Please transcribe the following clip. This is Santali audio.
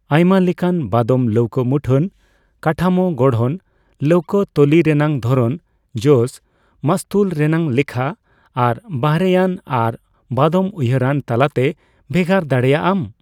ᱟᱭᱢᱟ ᱞᱮᱠᱟᱱ ᱵᱟᱫᱚᱢ ᱞᱟᱹᱣᱠᱟᱹ ᱢᱩᱴᱷᱟᱹᱱ, ᱠᱟᱴᱷᱟᱢᱳ ᱜᱚᱲᱦᱚᱱ, ᱞᱟᱹᱣᱠᱟᱹ ᱛᱚᱞᱤ ᱨᱮᱱᱟᱜ ᱫᱷᱚᱨᱚᱱ, ᱡᱚᱥ, ᱢᱟᱥᱛᱩᱞ ᱨᱮᱱᱟᱜ ᱞᱮᱠᱷᱟ ᱟᱨ ᱵᱟᱦᱨᱮᱭᱟᱱ ᱟᱨ ᱵᱟᱫᱚᱢ ᱩᱭᱦᱟᱹᱨᱟᱱ ᱛᱟᱞᱟᱛᱮ ᱵᱷᱮᱜᱟᱨ ᱫᱟᱲᱮᱭᱟᱜ ᱟᱢ ᱾